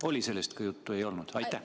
Oli sellest ka juttu või ei olnud?